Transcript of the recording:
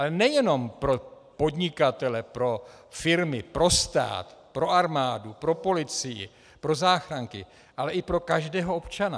Ale nejenom pro podnikatele, pro firmy, pro stát, pro armádu, pro policii, pro záchranky, ale i pro každého občana.